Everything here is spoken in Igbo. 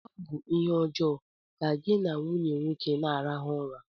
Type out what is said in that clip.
Ọ bụ ihe ọjọọ ka gị na nwunye nwoke na-arahụ ụra